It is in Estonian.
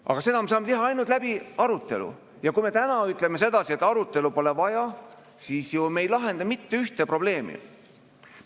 Aga seda me saame teha ainult läbi arutelu ja kui me täna ütleme, et arutelu pole vaja, siis me ei lahenda mitte ühtegi probleemi.